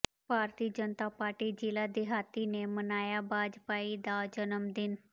ਭਾਰਤੀ Janata party ਜ਼ਿਲ੍ਹਾ ਦਿਹਾਤੀ ਨੇ ਮਨਾਇਆ ਵਾਜਪਾਈ ਦਾ ਜਨਮ ਦਿਨ